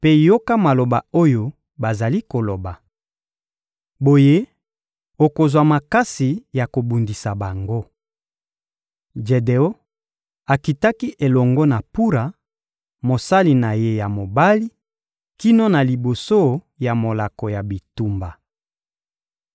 mpe yoka maloba oyo bazali koloba. Boye okozwa makasi ya kobundisa bango.» Jedeon akitaki elongo na Pura, mosali na ye ya mobali, kino na liboso ya molako ya bitumba.